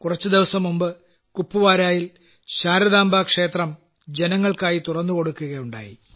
കുറച്ചുദിവസംമുമ്പ് കുപ്വാടായിൽ ശാരദാംബാക്ഷേത്രം ജനങ്ങൾക്കായി തുറന്നുകൊടുക്കുകയുണ്ടായി